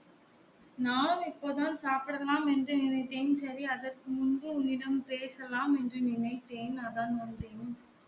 நான் இப்போ தான் சாப்பிடலாம்ன்னு என்று நினைத்தேன் சேரி அதற்கு முன்பு உன்னிடம் பேசலாம் என்று நினைத்தேன் அதான் வந்தேன்